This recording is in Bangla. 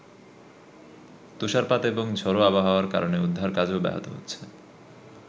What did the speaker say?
তুষারপাত এবং ঝোড়ো আবহাওয়ার কারণে উদ্ধার কাজও ব্যাহত হচ্ছে।